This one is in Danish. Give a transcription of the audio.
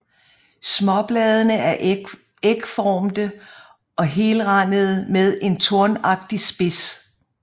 Småbladene er ægformde og helrandede med en tornagtig spids